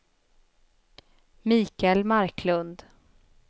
Michael Marklund